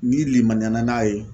N'i limaniya na n'a ye